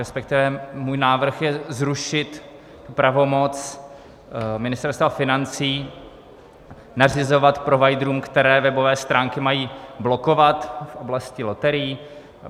Respektive můj návrh je zrušit pravomoc Ministerstva financí nařizovat providerům, které webové stránky mají blokovat v oblasti loterií.